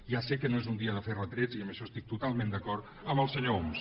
ja sé que no és un dia de fer retrets i en això estic totalment d’acord amb el senyor homs